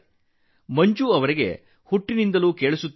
ಮಂಜುಗೆ ಹುಟ್ಟಿನಿಂದಲೇ ಕಿವಿ ಕೇಳಿಸುವುದಿಲ್ಲ